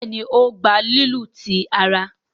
Béèni o gbà lílu tí àrà.